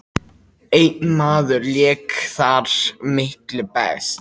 Einn maður lék þar miklu best.